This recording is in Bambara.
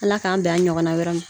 Ala k'an bɛn a ɲɔgɔnna wɛrɛ ma